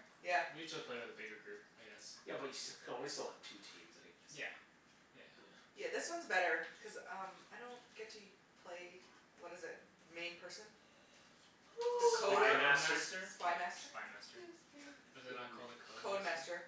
Yeah. We usually play with a bigger group, I guess. Yeah but you st- you can only still have two teams anyways. Yeah. Yeah. Yeah. Yeah, this one's better cuz um I don't get to u- play, what is it? The main person? The The Spy Coder? Code Master? Master? Oh, Spy Master? Spy Master. 'Scuse me. Is it not called a Code Code Master? Master.